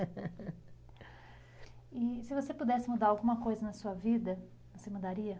E se você pudesse mudar alguma coisa na sua vida, você mudaria?